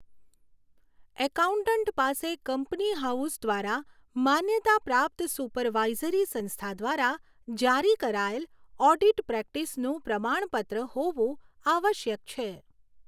Accountant પાસે company house દ્વારા માન્યતા પ્રાપ્ત સુપરવાઇઝરી સંસ્થા દ્વારા જારી કરાયેલ ઓડિટ પ્રેક્ટિસનું પ્રમાણપત્ર હોવું આવશ્યક છે.